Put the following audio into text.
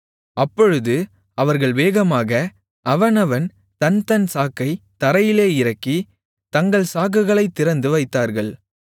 அப்பொழுது அவர்கள் வேகமாக அவனவன் தன்தன் சாக்கைத் தரையிலே இறக்கி தங்கள் சாக்குகளைத் திறந்து வைத்தார்கள்